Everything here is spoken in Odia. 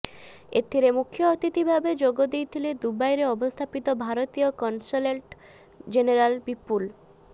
ଏଥିରେ ମୁଖ୍ୟଅତିଥି ଭାବେ ଯୋଗଦେଇଥିଲେ ଦୁବାଇରେ ଅବସ୍ଥାପିତ ଭାରତୀୟ କନସଲେଟ୍ ଜେନେରାଲ ବିପୁଲ